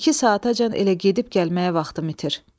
İki saatacan elə gedib gəlməyə vaxtım itir.